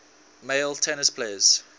male tennis players